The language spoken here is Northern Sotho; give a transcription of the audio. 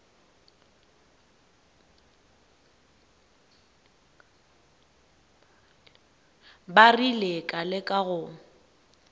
ba rile ka leka go